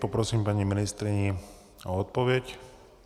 Poprosím paní ministryni o odpověď.